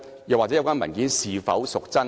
有關文件是否真確？